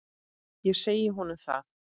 Ég segi honum það.